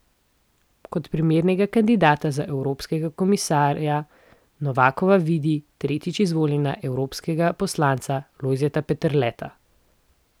Kot primernega kandidata za evropskega komisarja Novakova vidi tretjič izvoljenega evropskega poslanca Lojzeta Peterleta.